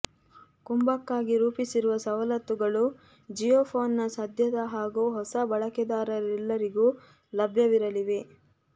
ಕುಂಭಕ್ಕಾಗಿ ರೂಪಿಸಿರುವ ಸವಲತ್ತುಗಳು ಜಿಯೋಫೋನ್ನ ಸದ್ಯದ ಹಾಗೂ ಹೊಸ ಬಳಕೆದಾರರೆಲ್ಲರಿಗೂ ಲಭ್ಯವಿರಲಿವೆ